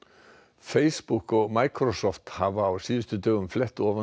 Facebook og hafa á síðustu dögum flett ofan